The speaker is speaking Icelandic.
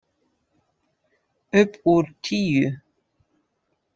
Upp úr tíu.